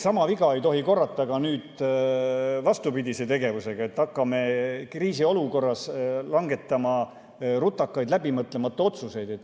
Sama viga ei tohi korrata ka vastupidise tegevusega, et hakkame kriisiolukorras langetama rutakaid, läbimõtlemata otsuseid.